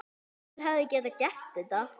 Hver hefði getað gert þetta?